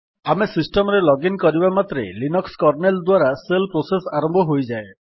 ଆମେ ସିଷ୍ଟମ୍ ରେ ଲଗିନ୍ କରିବା ମାତ୍ରେ ଲିନକ୍ସ୍ କର୍ନେଲ୍ ଦ୍ୱାରା ଶେଲ୍ ପ୍ରୋସେସ୍ ଆରମ୍ଭ ହୋଇଯାଏ